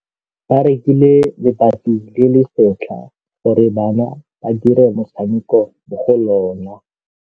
Ba rekile lebati le le setlha gore bana ba dire motshameko mo go lona.